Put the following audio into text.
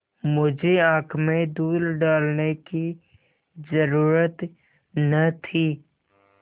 मुझे आँख में धूल डालने की जरुरत न थी